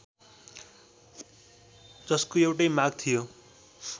जसको एउटै माग थियो